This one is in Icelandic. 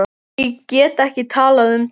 Ég get ekki talað um það.